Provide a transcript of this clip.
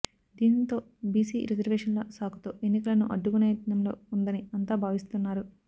దాంతో బీసీ రిజర్వేషన్ల సాకుతో ఎన్నికలను అడ్డుకునేయత్నంలో ఉందని అంతా భావిస్తున్నారు